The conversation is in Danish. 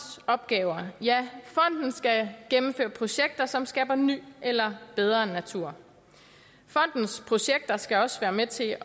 opgaver ja fonden skal gennemføre projekter som skaber ny eller bedre natur fondens projekter skal også være med til